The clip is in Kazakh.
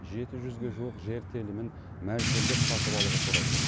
жеті жүзге жуық жер телімін мәжбүрлеп сатып алуға тура келеді